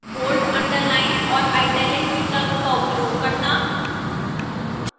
bold underline और italic विकल्प का उपयोग करना